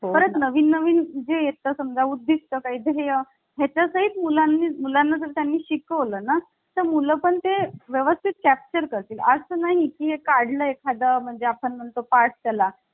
तर हि इतर देशांच्या घटनांमधील कलमांची संख्या आहे. आता यानंतर भारतीय राज्यघटनेचे विविध स्रोत. आता आपल्याला सर्वात महत्वाचा जो Topic आहे जे घटनेची वैशिष्ट्य यामध्ये कशावर प्रश्न विचारले जातात